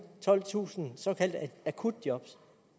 tolvtusind såkaldte akutjob